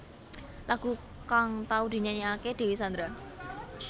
Lagu kang tau dinyanyékaké Dewi Sandra